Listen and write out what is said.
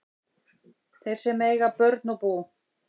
Þeir sem eiga börn og bú